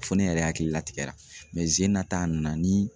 Fɔ ne yɛrɛ hakili la tigɛ la mɛ sen in ta a nana ni